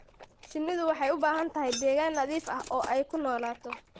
Shinnidu waxay u baahan tahay deegaan nadiif ah oo ay ku noolaato.